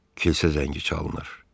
Kilsə zəngi çalınır.